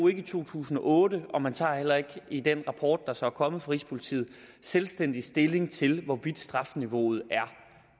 i to tusind og otte og man tager heller ikke i den rapport der så er kommet fra rigspolitiet selvstændig stilling til hvorvidt strafniveauet er